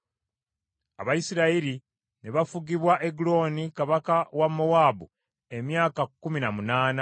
Abayisirayiri ne bafugibwa Egulooni kabaka wa Mowaabu emyaka kkumi na munaana.